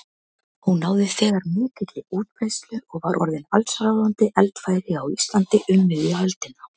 Hún náði þegar mikilli útbreiðslu og var orðin allsráðandi eldfæri á Íslandi um miðja öldina.